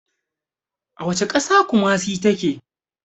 A wacce ƙasa kumasi ta ke?